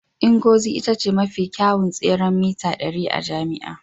Ngozi ita ce mafi kyawun tseren mita ɗari a jami'ar